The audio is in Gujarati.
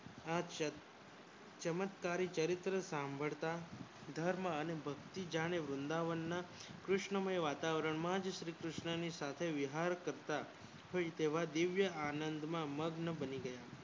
આપ સંગ ચમત્કારી ચરિત્ર સાંભળતા ધર્મ અને ભક્તિ જાણે વૃંદાવન માંકૃષ્ણમય વાતાવરણમાં જ શ્રી કૃસ્ણ સાથે વિહાર કરતાથઈ તેવા દિવ્ય આનંદમાં મગ્ન બની ગયા.